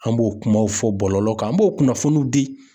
An b'o kumaw fɔ bɔlɔlɔ kan, an b'o kunnafoninw di